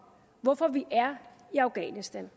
hvorfor vi er i afghanistan